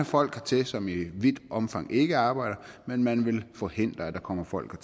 folk hertil som i vidt omfang ikke arbejder men man vil forhindre at der kommer folk